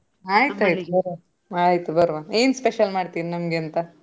ಆಯ್ತಾಯ್ತು ಬರ್ವ. ಆಯ್ತ್ ಬರ್ವ. ಏನ್ special ಮಾಡ್ತೀರೀ ನಮ್ಗೆ ಅಂತ?